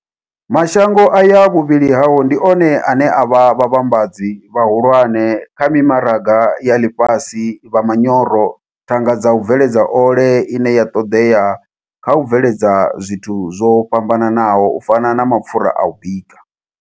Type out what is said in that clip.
Mashango aya vhuvhili hao ndi one ane a vha vhavhambadzi vhahulwane kha mimaraga ya ḽifhasi vha manyoro, thanga dza u bveledza ole ine ya ṱoḓea kha u bveledza zwithu zwo fhambanaho u fana na mapfura a u bika.